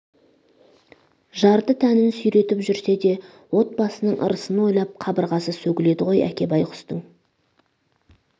жарты тәнін сүйретіп жүрсе де отбасының ырысын ойлап қабырғасы сөгіледі ғой әке байғұстың